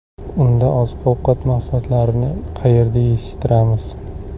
Unda oziq-ovqat mahsulotlarini qayerda yetishtiramiz?